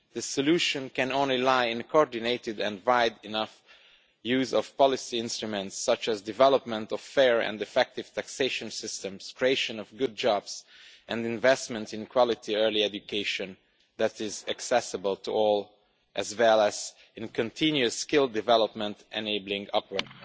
The solution can only lie in a coordinated and wide enough use of policy instruments, such as development of fair and effective taxation systems, creation of good jobs, and investment in quality early education that is accessible to all, as well as in continuous skill development enabling upward